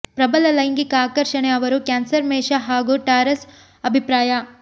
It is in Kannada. ಪ್ರಬಲ ಲೈಂಗಿಕ ಆಕರ್ಷಣೆ ಅವರು ಕ್ಯಾನ್ಸರ್ ಮೇಷ ಹಾಗೂ ಟಾರಸ್ ಅಭಿಪ್ರಾಯ